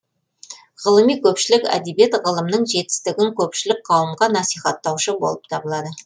ғылыми көпшілік әдебиет ғылымның жетістігін көпшілік қауымға насихаттаушы болып табылады